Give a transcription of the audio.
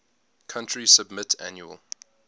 country submit annual